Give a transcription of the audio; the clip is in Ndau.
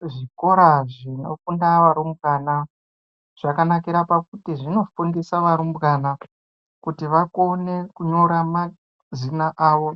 Kuzvikora zvinofunda varumbwana zvakanakira pakuti zvinofundisa varumbwana kuti vakone kunyora mazina avo,